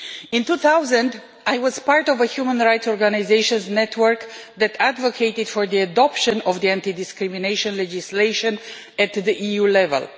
In 2000, I was part of a human rights organisation network that advocated for the adoption of anti discrimination legislation at the EU level.